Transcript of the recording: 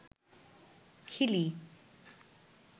Hili